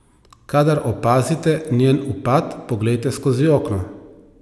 Kadar opazite njen upad, poglejte skozi okno.